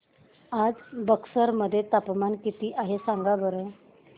आज बक्सर मध्ये तापमान किती आहे सांगा बरं